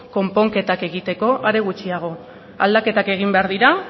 konponketak egiteko are gutxiago aldaketak egin behar dira